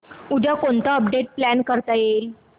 उद्या कोणतं update plan करता येईल